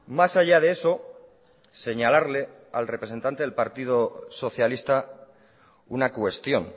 más allá de eso señalarle al representante del partido socialista una cuestión